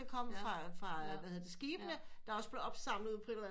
Kom fra hvad hedder der skibene der også blev opsamlet på et eller andet